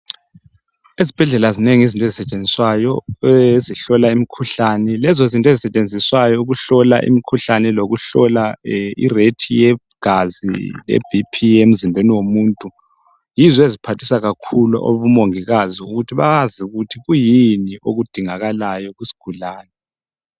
Ezibhedlela zinengi izinto ezisetshenziswayo ezihlola imikhuhlane lezozinto ezisetshenziswa ukuhlola imikhuhlane lokuhlolwa I rate ye gazi le BP emzimbeni womuntu yizo eziphathisa kakhulu omongikazi ukuthi bazi ukuthi kuyini okudingakalayo kusigulani